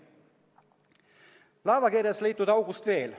Veel laevakerest leitud august.